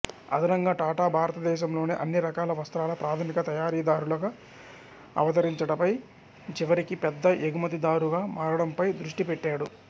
అదనంగా టాటా భారతదేశంలోని అన్ని రకాల వస్త్రాల ప్రాధమిక తయారీదారుగా అవతరించడపై చివరికి పెద్ద ఎగుమతిదారుగా మారడంపై దృష్టి పెట్టాడు